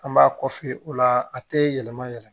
An b'a kɔfɛ o la a tɛ yɛlɛma yɛlɛma